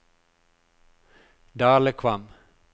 Dalekvam